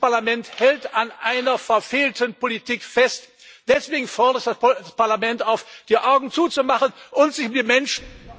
ist. Dieses Parlament hält an einer verfehlten Politik fest. Deswegen fordere ich das Parlament auf, die Augen zuzumachen und sich mit Menschen...